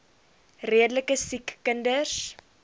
redelike siek kinders